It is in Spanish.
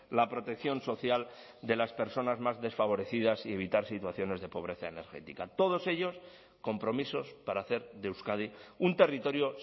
la protección social de las personas más desfavorecidas y evitar situaciones de pobreza energética todos ellos compromisos para hacer de euskadi un territorio